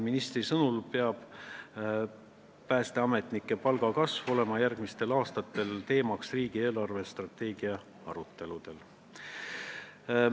Ministri sõnul peab päästeametnike palga kasv olema järgmistel aastatel riigi eelarvestrateegia arutelude teema.